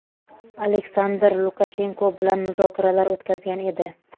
Aleysandr Lukashenko bilan muzokaralar o‘tkazgan edi.